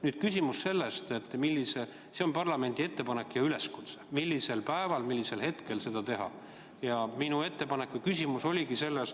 Nüüd on küsimus selles, et see on parlamendi ettepanek ja üleskutse, aga millisel päeval võiks selle ettekande teha.